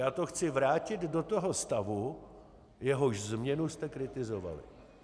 Já to chci vrátit do toho stavu, jehož změnu jste kritizovali.